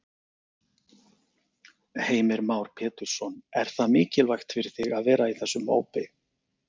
Heimir Már Pétursson: Er það mikilvægt fyrir þig að vera í þessum hópi?